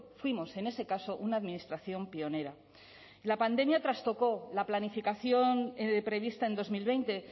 fuimos en ese caso una administración pionera la pandemia trastocó la planificación prevista en dos mil veinte